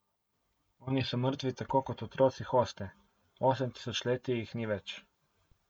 Oni so mrtvi tako kot otroci hoste, osem tisočletij jih ni več.